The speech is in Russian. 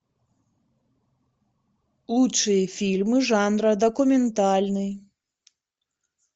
лучшие фильмы жанра документальный